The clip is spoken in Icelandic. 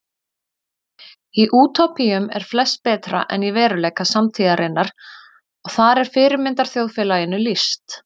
Í útópíum eru flest betra en í veruleika samtíðarinnar og þar er fyrirmyndarþjóðfélaginu lýst.